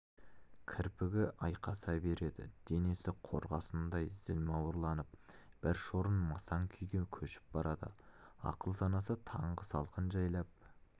кірпігі айқаса береді денесі қорғасындай зілмауырланып бір шорын масаң күйге көшіп барады ақыл-санасы таңғы салқын жайлап